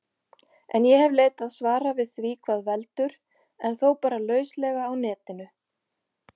En ég hef leitað svara við því hvað veldur, en þó bara lauslega á Netinu.